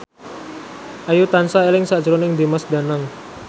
Ayu tansah eling sakjroning Dimas Danang